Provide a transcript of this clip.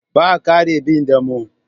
Ba kare bin damo.